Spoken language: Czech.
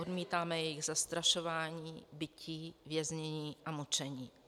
Odmítáme jejich zastrašování, bití, věznění a mučení.